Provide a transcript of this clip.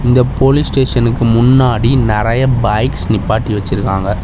இந்த போலீஸ் ஸ்டேஷனுக்கு முன்னாடி நெறையா பைக்ஸ் நிப்பாட்டி வச்சிருக்காங்க.